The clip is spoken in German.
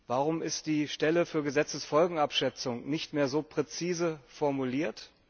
Warum ist die Stelle für Gesetzesfolgenabschätzung nicht mehr so präzise formuliert?